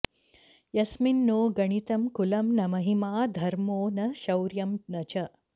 यस्मिन् नो गणितं कुलं न महिमा धर्मो न शौर्यं न च